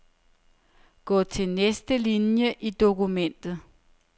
Gå til næste linie i dokumentet.